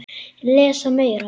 Lesa Meira